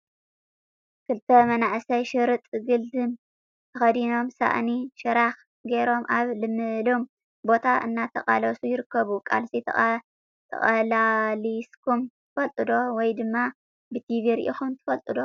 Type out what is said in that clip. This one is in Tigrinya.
ክልተ መናኣሰይ ሽርጥ ግልድም ተከዲኖም ሳእኒ ሽራክ ገይሮም ኣብ ልምሉም ቦታ እናተቃለሱ ይርክቡ። ቅልስ ተቃሊስኩም ትፈልጡ ዶ?ወይድማ ብቲቪ ሪኢኩም ትፈልጡ ዶ?